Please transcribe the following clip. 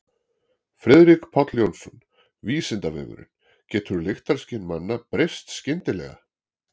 Friðrik Páll Jónsson: Vísindavefurinn: Getur lyktarskyn manna breyst skyndilega?